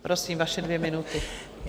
Prosím, vaše dvě minuty.